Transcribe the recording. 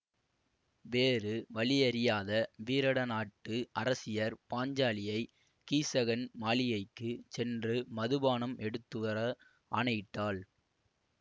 வேறு வழியறியாத வீரடநாட்டு அரசியர் பாஞ்சாலியை கீசகன் மாளிகைக்குச் சென்று மதுபானம் எடுத்துவர ஆணையிட்டாள்